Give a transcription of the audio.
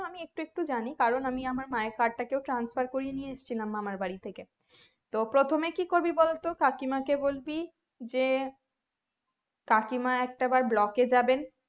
আমি একটু একটু জানি কারণ আমি আমার মা আর card টা কেউ transfer করিয়ে নিয়ে আসছিলাম মামার বাড়ি থেকে তো প্রথমে কি করবি বলতো কাকিমাকে বলবি যে কাকিমা একটা বার block এ যাবেন